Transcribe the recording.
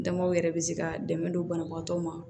Damaw yɛrɛ bɛ se ka dɛmɛ don banabaatɔ ma